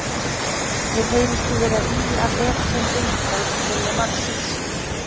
Mér heyrist þú vera að ýja að efasemdum um frjálsan vilja mannsins.